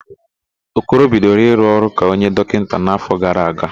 Okoro bidoro ịrụ ọrụ ka onye dọkịta n'áfọ̀ gara aga.